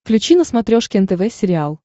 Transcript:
включи на смотрешке нтв сериал